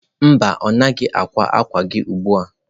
Mba, ọ naghị ákwá àkwà gị ugbu a.